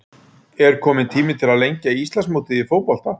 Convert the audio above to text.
Er kominn tími til að lengja Íslandsmótið í fótbolta?